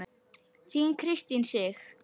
Þín Kristín Sig.